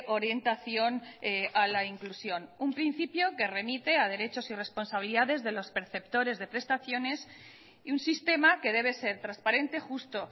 orientación a la inclusión un principio que remite a derechos y responsabilidades de los perceptores de prestaciones y un sistema que debe ser transparente justo